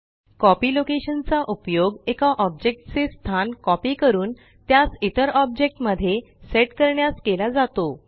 copy location चा उपयोग एका ऑब्जेक्ट चे स्थान कॉपी करून त्यास इतर ऑब्जेक्ट मध्ये सेट करण्यास केला जातो